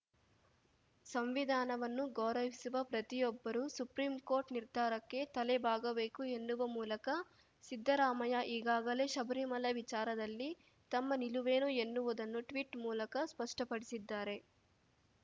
ಸಂವಿಧಾನವನ್ನು ಗೌರವಿಸುವ ಪ್ರತಿಯೊಬ್ಬರೂ ಸುಪ್ರೀಂ ಕೋರ್ಟ್‌ ನಿರ್ಧಾರಕ್ಕೆ ತಲೆಬಾಗಬೇಕು ಎನ್ನುವ ಮೂಲಕ ಸಿದ್ದರಾಮಯ್ಯ ಈಗಾಗಲೇ ಶಬರಿಮಲೆ ವಿಚಾರದಲ್ಲಿ ತಮ್ಮ ನಿಲುವೇನು ಎನ್ನುವುದನ್ನು ಟ್ವೀಟ್‌ ಮೂಲಕ ಸ್ಪಷ್ಟಪಡಿಸಿದ್ದಾರೆ